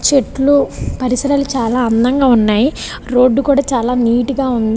చెట్లు పరిసరాలు చాల అందంగా ఉన్నాయి రోడ్ కూడా చాల నీట్ గ ఉంది.